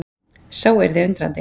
Sá yrði undrandi.